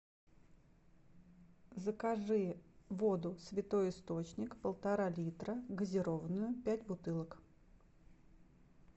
закажи воду святой источник полтора литра газированную пять бутылок